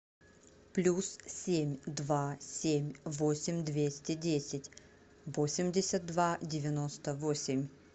плюс семь два семь восемь двести десять восемьдесят два девяносто восемь